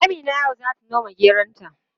Amina yau zata noma geronta.